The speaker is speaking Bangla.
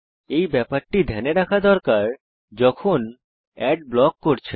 এই ব্যাপারটি ধ্যানে রাখা দরকার যখন অ্যাড ব্লক করছেন